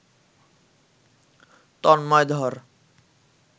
তন্ময় ধর